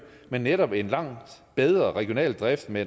men netop en langt bedre regional drift med